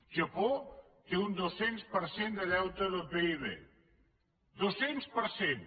japó té un dos cents per cent de deute del pib dos cents per cent